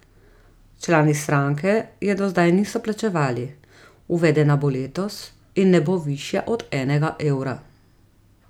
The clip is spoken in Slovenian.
Člani stranke je do zdaj niso plačevali, uvedena bo letos in ne bo višja od enega evra.